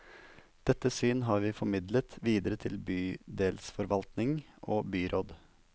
Dette syn har vi formidlet videre til bydelsforvaltning og byråd.